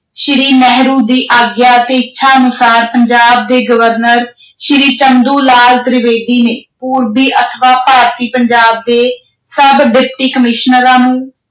ਸ਼੍ਰੀ ਨਹਿਰੂ ਦੀ ਆਗਿਆ ਅਤੇ ਇੱਛਾ ਅਨੁਸਾਰ ਪੰਜਾਬ ਦੇ ਗਵਰਨਰ ਸ਼੍ਰੀ ਚੰਦੂ ਲਾਲ ਤ੍ਰਿਵੇਦੀ ਨੇ ਪੂਰਬੀ ਅਥਵਾ ਭਾਰਤੀ ਪੰਜਾਬ ਦੇ ਸਭ Deputy commissioner ਨੂੰ